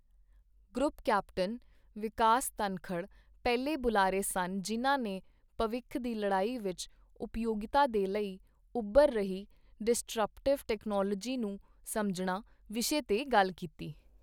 Group captain Vikas Dhankhar ਪਹਿਲੇ ਬੁਲਾਰੇ ਸਨ ਜਿਨ੍ਹਾਂ ਨੇ ਭਵਿੱਖ ਦੀ ਲੜਾਈ ਵਿੱਚ ਉਪਯੋਗਿਤਾ ਦੇ ਲਈ ਉਭਰ ਰਹੀ ਡਿਸਟਰਪਟਿਵ ਟੈਕਨੋਲੋਜੀ ਨੂੰ ਸਮਝਣਾ ਵਿਸ਼ੇ ਤੇ ਗੱਲ ਕੀਤੀ।